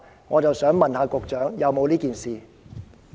我想問局長，是否有這件事？